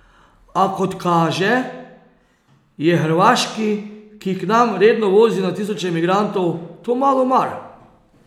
A kot kaže, je Hrvaški, ki k nam redno vozi na tisoče migrantov, to malo mar ...